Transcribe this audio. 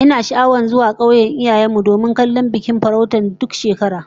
Ina sha'awar zuwa kauyen iyayen mu domin kallon bikin farauta duk shekara